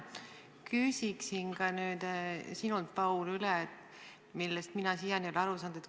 Küsin ka nüüd sinult, Paul, asja, millest mina siiani ei ole aru saanud.